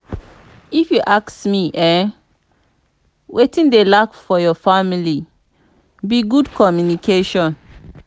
if you ask me eh wetin dey lack for your family be good communication